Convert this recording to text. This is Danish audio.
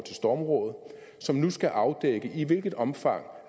stormrådet som nu skal afdække i hvilket omfang